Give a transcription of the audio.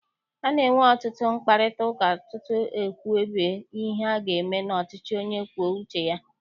A na-enwe ọtụtụ mkparịtaụka tutu ekwubie ihe aga eme n'ọchịchị onye kwue uche ya.